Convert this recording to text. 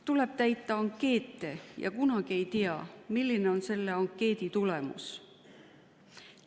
Tuleb täita ankeete ja kunagi ei tea, milline on ankeedi tulemus.